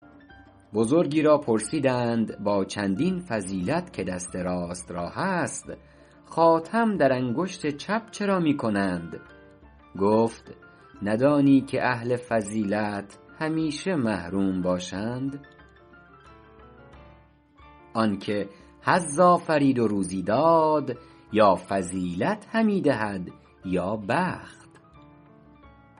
بزرگی را پرسیدند با چندین فضیلت که دست راست را هست خاتم در انگشت چپ چرا می کنند گفت ندانی که اهل فضیلت همیشه محروم باشند آن که حظ آفرید و روزی داد یا فضیلت همی دهد یا بخت